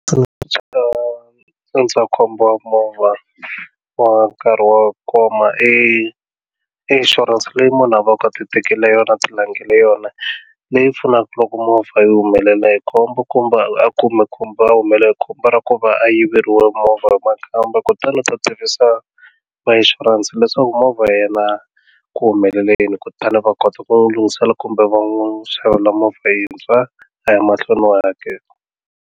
Ndzi nga ndzindzakhombo wa movha wa nkarhi wo koma i insurance leyi munhu a va ka ti tekele yona a ti langele yona leyi pfunaka loko movha yi humelela hi khombo kumbe a a humelela hi khombo ra ku va a yiveriwa movha nakambe kutani u ta tivisa va ishurense leswaku movha ya yena ku humelela yini kutani va kota ku lunghisela kumbe va n'wi xavela movha yintshwa a ya mahlweni wa hakela.